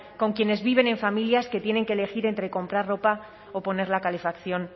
con quienes viven en familias que tienen que elegir entre comprar ropa o poner la calefacción